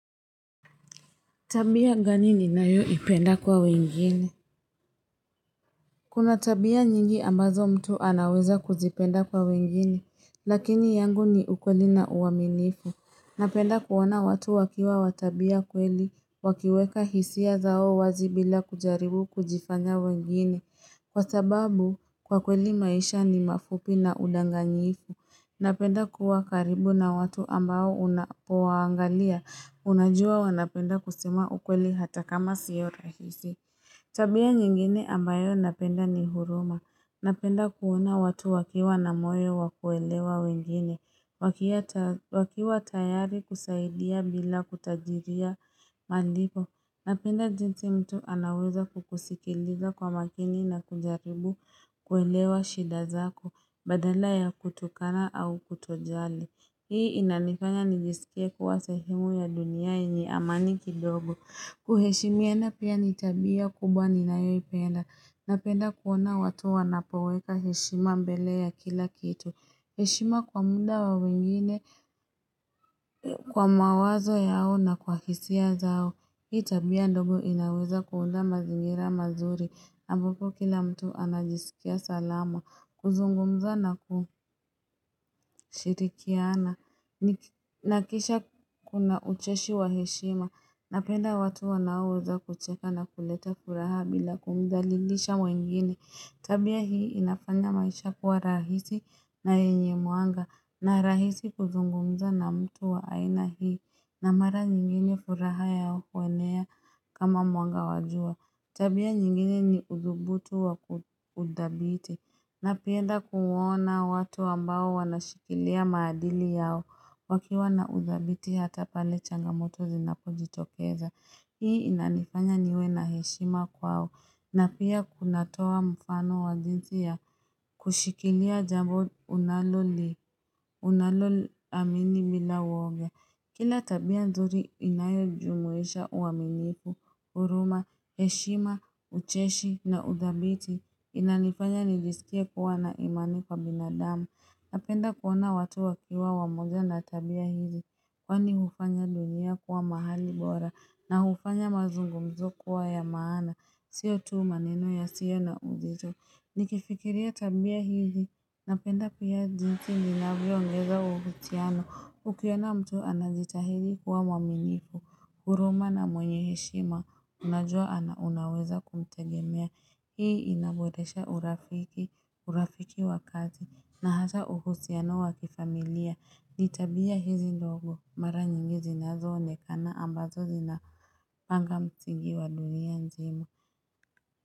Tabia gani ninayoipenda kwa wengine? Kuna tabia nyingi ambazo mtu anaweza kuzipenda kwa wengine, lakini yangu ni ukweli na uaminifu. Napenda kuona watu wakiwa watabia kweli, wakiweka hisia zao wazi bila kujaribu kujifanya wengine. Kwa sababu, kwa kweli maisha ni mafupi na udanganyifu. Napenda kuwa karibu na watu ambao unapowaangalia. Unajua wanapenda kusema ukweli hata kama siyo rahisi. Tabia nyingine ambayo napenda ni huruma. Napenda kuona watu wakiwa na moyo wa kuelewa wengine. Wakiwa tayari kusaidia bila kutajiria malipo. Napenda jinsi mtu anaweza kukusikiliza kwa makini na kujaribu kuelewa shida zako. Badala ya kutukana au kutojali. Hii inanifanya nijisikie kuwa sehemu ya dunia yenye amani kidogo. Kuheshimiana pia ni tabia kubwa ninayoipenda. Napenda kuona watu wanapoweka heshima mbele ya kila kitu. Heshima kwa muda wa wengine, kwa mawazo yao na kwa hisia zao. Hii tabia ndogo inaweza kuunda mazingira mazuri. Ambapo kila mtu anajisikia salama. Kuzungumza na kushirikiana na kisha kuna ucheshi wa heshima Napenda watu wanaoweza kucheka na kuleta furaha bila kumdhalilisha mwengine Tabia hii inafanya maisha kuwa rahisi na yenye muanga na rahisi kuzungumza na mtu wa aina hii na mara nyingine furaha ya wanea kama muanga wa jua Tabia nyingine ni uthubutu wa kuthabiti Napenda kuwona watu ambao wanashikilia maadili yao wakiwa na uthabiti hata pale changamoto zinapojitokeza. Hii inanifanya niwe na heshima kwao na pia kunatoa mfano wa jinsi ya kushikilia jambo unaloliamini bila woga. Kila tabia nzuri inayojumuisha uaminifu, huruma, heshima, ucheshi na uthabiti. Inanifanya nijisikie kuwa na imani kwa binadama Napenda kuona watu wakiwa wamoja na tabia hizi Kwani hufanya dunia kuwa mahali bora na hufanya mazungumzo kuwa ya maana Sio tu maneno yasiyo na uzito Nikifikiria tabia hizi Napenda pia jinsi ninavyoongeza uvutiano Ukiona mtu anazitahidi kuwa mwaminifu huruma na mwenye heshima Unajua ana unaweza kumtegemea Hii inaboresha urafiki, urafiki wa kazi na hata uhusiano wa kifamilia. Ni tabia hizi ndogo mara nyingi zinazoonekana ambazo zinapanga msingi wa dunia nzima.